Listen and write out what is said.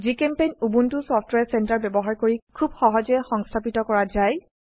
জিচেম্পেইণ্ট Ubuntu software centre ব্যবহাৰ কৰি খুব সহজে সংস্থাপিত কৰা যায়